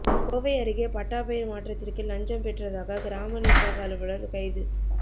கோவை அருகே பட்டா பெயர் மாற்றத்திற்கு லஞ்சம் பெற்றதாக கிராம நிர்வாக அலுவலர் கைது